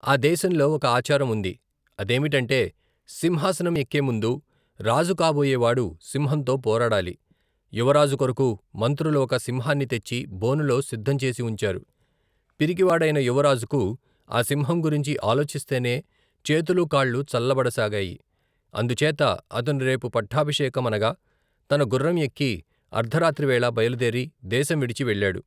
ఆ దేశంలో, ఒక ఆచారం ఉంది, అదేమిటంటే, సింహాసనం ఎక్కేముందు, రాజు కాబోయేవాడు, సింహంతో పోరాడాలి, యువరాజుకొరకు, మంత్రులు ఒక సింహాన్ని తెచ్చి, బోనులో సిద్ధంచేసివుంచారు, పిరికివాడైన యువరాజుకు, ఆ సింహం గురించి, ఆలోచిస్తేనే, చేతులూ కాళ్ళూ చల్లబడసాగాయి, అందుచేత, అతను రేపు పట్టాభిషేకమనగా, తన గుర్రంయెక్కి, అర్ధరాత్రివేళ, బయలుదేరి, దేశంవిడిచి వెళ్లాడు.